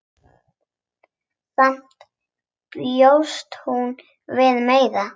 Samt bjóst hún við meiru.